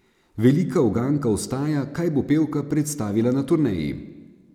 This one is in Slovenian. Velika uganka ostaja, kaj bo pevka predstavila na turneji.